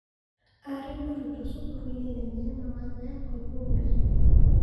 Arĩ mũrutwo cukuruini nene ya mawatho ya Korubia